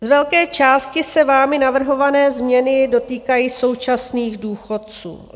Z velké části se vámi navrhované změny dotýkají současných důchodců.